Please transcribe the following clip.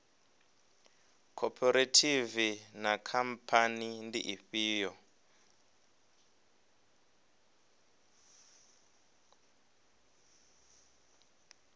khophorethivi na khamphani ndi ifhio